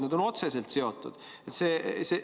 Need on otseselt seotud!